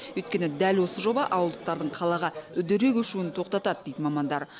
өйткені дәл осы жоба ауылдықтардың қалаға үдере көшуін тоқтатады дейді мамандар